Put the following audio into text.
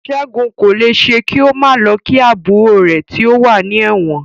Ṣẹ́gun kò lè ṣe kí ó má lọ kí àbúrò rè tí ó wà ní ẹ̀wọ̀n.